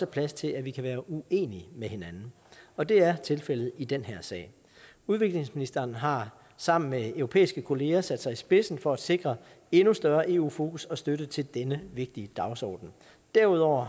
plads til at vi kan være uenige med hinanden og det er tilfældet i den her sag udviklingsministeren har sammen med europæiske kollegaer sat sig i spidsen for at sikre endnu større eu fokus og støtte til denne vigtige dagsorden derudover